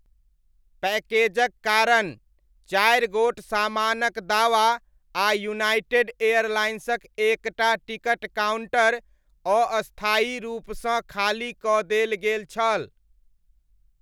पैकेजक कारण, चारि गोट सामानक दावा आ यूनाइटेड एयरलाइन्सक एक टा टिकट काउण्टर अस्थायी रूपसँ खाली कऽ देल गेल छल।